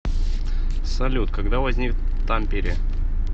салют когда возник тампере